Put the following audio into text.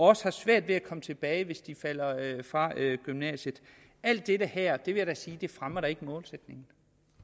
også svært ved at komme tilbage hvis de falder fra gymnasiet alt det her vil jeg da ikke sige fremmer målsætningen